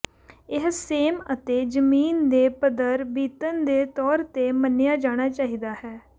ਇਹ ਸੇਮ ਅਤੇ ਜ਼ਮੀਨ ਦੇ ਪੱਧਰ ਬੀਤਣ ਦੇ ਤੌਰ ਤੇ ਮੰਨਿਆ ਜਾਣਾ ਚਾਹੀਦਾ ਹੈ